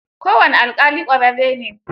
Kowane alƙali ƙwararre ne.